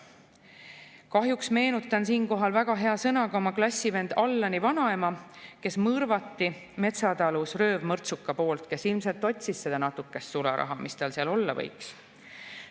Kahjuks meenutan siinkohal väga hea sõnaga oma klassivenna Allani vanaema, kes mõrvati metsatalus röövmõrtsuka poolt, kes ilmselt otsis seda natukest sularaha, mis seal olla võis.